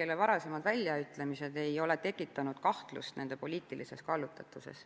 kelle varasemad väljaütlemised ei ole tekitanud kahtlust nende poliitilises kallutatuses.